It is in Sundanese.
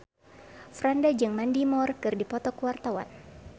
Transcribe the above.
Franda jeung Mandy Moore keur dipoto ku wartawan